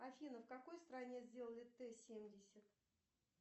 афина в какой стране сделали т семьдесят